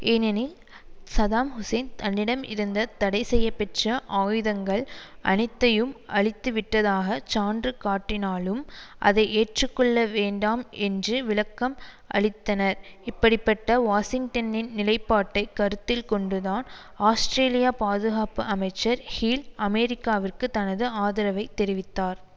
ஏனெனில் Saddam Hussein தன்னிடமிருந்த தடைசெய்யப்பெற்ற ஆயுதங்கள் அனைத்தையும் அழித்துவிட்டதாக சான்று காட்டினாலும் அதை ஏற்றுக்கொள்ள வேண்டாம் என்று விளக்கம் அளித்தனர் இப்படி பட்ட வாஷிங்டனின் நிலைப்பாட்டை கருத்தில் கொண்டுதான் ஆஸ்ட்ரேலியா பாதுகாப்பு அமைச்சர் ஹீல் அமெரிக்காவிற்கு தனது ஆதரவை தெரிவித்தார்